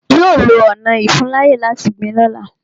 Yọ lọ ọna ìfuńláyè láti gbìn lọ́la.